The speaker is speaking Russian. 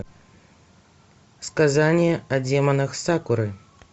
сказание о демонах сакуры